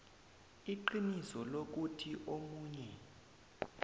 iqiniso lokuthi omunye